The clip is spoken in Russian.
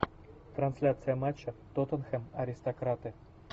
трансляция матча тоттенхэм аристократы